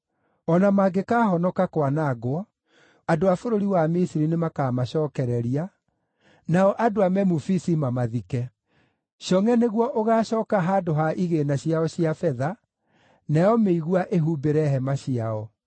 O na mangĩkaahonoka kwanangwo, andũ a bũrũri wa Misiri nĩmakamacookereria, nao andũ a Memufisi mamathike. Congʼe nĩguo ũgaacooka handũ ha igĩĩna ciao cia betha, nayo mĩigua ĩhumbĩre hema ciao.